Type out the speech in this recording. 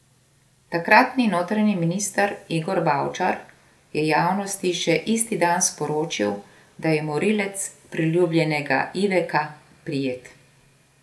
Takratni notranji minister Igor Bavčar je javnosti še isti dan sporočil, da je morilec priljubljenega Iveka prijet.